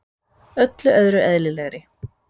Öllu öðru eðlilegri.